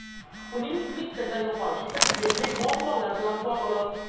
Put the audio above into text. Uning Twitter’dan yo‘qolishi esa texnik muammolar bilan bog‘liq.